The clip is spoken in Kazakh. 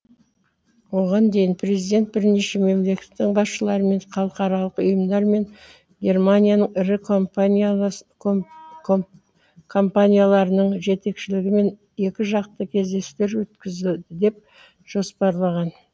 оған дейін президент бірнеше мемлекеттің басшыларымен халықаралық ұйымдар мен германияның ірі компанияларының жетекшілерімен екіжақты кездесулер өткізеді деп жоспарланған